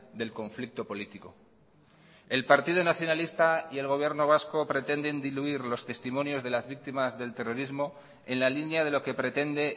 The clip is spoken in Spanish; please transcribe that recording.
del conflicto político el partido nacionalista y el gobierno vasco pretenden diluir los testimonios de las víctimas del terrorismo en la línea de lo que pretende